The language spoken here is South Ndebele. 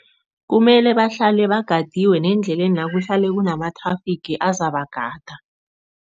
Kumele bahlale bagadiwe nendlelena kuhlale kunama-traffic azabagada.